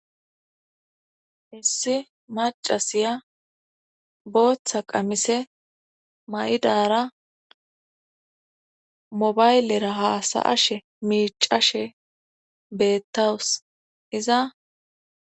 Issi macasiya booththa qamise may'dara mobaylera haasa ashe miicashe beettawus iza,